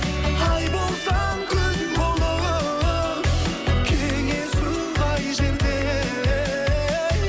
ай болсаң күн болып кеңесу қай жерде ей